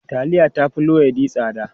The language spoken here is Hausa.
Taliya ta fi luwaiɗi tsada.